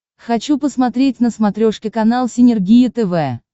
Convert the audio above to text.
хочу посмотреть на смотрешке канал синергия тв